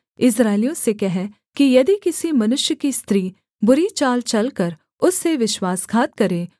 इस्राएलियों से कह कि यदि किसी मनुष्य की स्त्री बुरी चाल चलकर उससे विश्वासघात करे